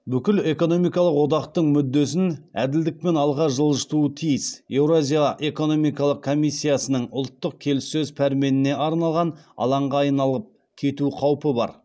бүкіл экономикалық одақтың мүддесін әділдікпен алға жылжытуы тиіс еуразия экономикалық комиссиясының ұлттық келіссөз пәрменіне арналған алаңға айналып кету қаупі бар